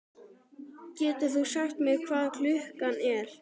Getur þú sagt mér hvað klukkan er?